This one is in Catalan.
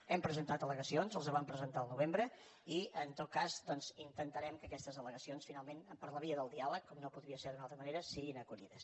hem presentat al·legacions les vam presentar al novembre i en tot cas doncs intentarem que aquestes allegacions finalment per la via del diàleg com no podria ser d’una altra manera siguin acollides